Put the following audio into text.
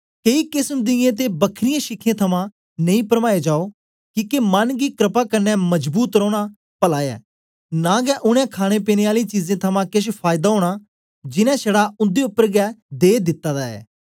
केई केसम दियें ते बखरीयें शिख्यें थमां नेई परमाए जाओ किके मन गी क्रपा कन्ने मजबूत रौना पला ऐ नां गै उनै खाणे पीने आलियें चीजें थमां केछ फायदा ओया जीनें छड़ा उन्दे उपर गै दे दिता ऐ